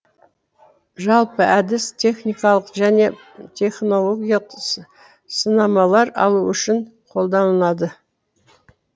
жалпы әдіс техникалық және технологиялық сынамалар алу үшін қолданылады